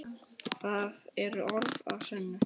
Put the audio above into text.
Það eru orð að sönnu!